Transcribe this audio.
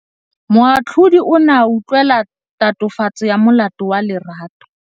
Moatlhodi o ne a utlwelela tatofatsô ya molato wa Lerato.